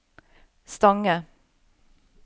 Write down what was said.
Stange